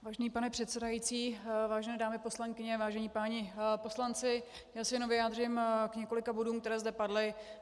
Vážený pane předsedající, vážené dámy poslankyně, vážení páni poslanci, já se jen vyjádřím k několika bodům, které zde padly.